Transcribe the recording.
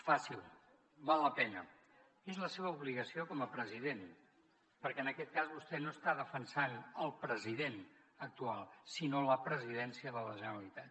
faci ho val la pena és la seva obligació com a president perquè en aquest cas vostè no està defensant el president actual sinó la presidència de la generalitat